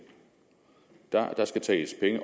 der skal tages penge